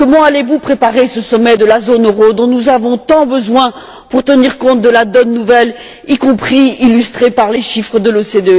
Comment allez vous préparer ce sommet de la zone euro dont nous avons tant besoin pour tenir compte de la nouvelle donne, notamment illustrée par les chiffres de l'OCDE?